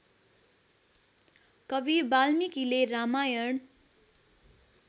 कवि वाल्मीकिले रामायण